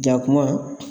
Jakuma